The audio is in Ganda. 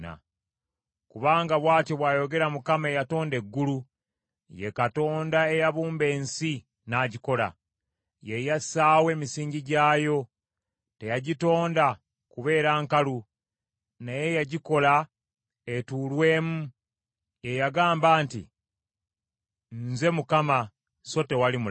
Kubanga bw’atyo bw’ayogera Mukama eyatonda eggulu, ye Katonda eyabumba ensi n’agikola. Ye yassaawo emisingi gyayo. Teyagitonda kubeera nkalu naye yagikola etuulwemu. Ye yagamba nti, “Nze Mukama so tewali mulala.